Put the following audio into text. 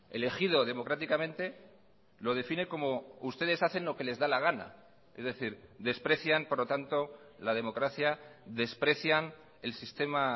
elegido democráticamente lo define como ustedes hacen lo que les da la gana es decir desprecian por lo tanto la democracia desprecian el sistema